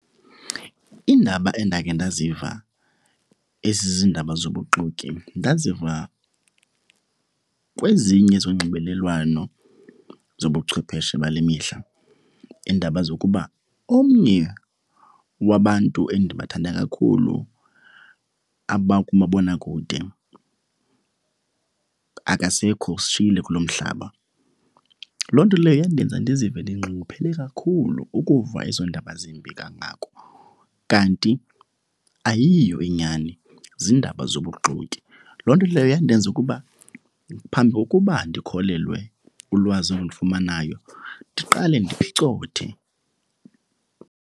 Iindaba endakhe ndaziva ezizindaba zobuxoki ndaziva kwezinye zonxibelelwano zobuchwepheshe bale mihla. Iindaba zokuba omnye wabantu endibathandayo kakhulu abakumabonakude akasekho, usishiyile kulo mhlaba. Loo nto leyo yandenza ndizive ndinxunguphele kakhulu ukuva ezo ndaba zimbi kangako kanti ayiyo inyani, ziindaba zobuxoki. Loo nto leyo yandenza ukuba phambi kokuba ndikholelwe ulwazi endilifumanayo ndiqale ndiphicothe.